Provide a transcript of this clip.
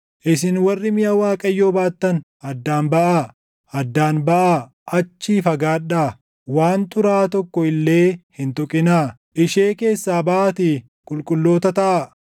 Isin warri miʼa Waaqayyoo baattan, addaan baʼaa; addaan baʼaa; achii fagaadhaa! Waan xuraaʼaa tokko illee hin tuqinaa! Ishee keessaa baʼaatii qulqulloota taʼa.